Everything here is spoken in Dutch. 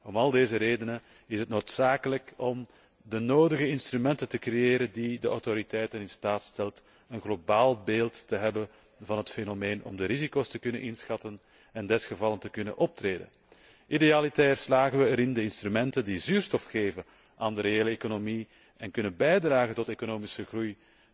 Om al deze redenen is het noodzakelijk de nodige instrumenten te creëren die de autoriteiten in staat stelt een globaal beeld te krijgen van het fenomeen om de risico's te kunnen inschatten en zo nodig te kunnen optreden. Idealiter slagen we erin de instrumenten die zuurstof geven aan de reële economie en kunnen bijdragen tot economische groei